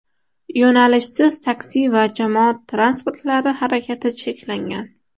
Yo‘nalishsiz taksi va jamoat transportlari harakati cheklangan.